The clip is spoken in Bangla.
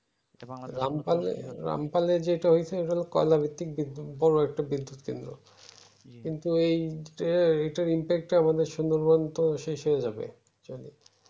রামপাল রামপালের যেইটা হয়ছে ইটা লহো কয়লা ভিত্তিক বিদুঃ বোরো একটা বিদ্যুৎ কেন্দ্র কিন্তু এই যে এইটার impact তো আমাদের সুন্দরবন তো শেষ হয়ে যাবে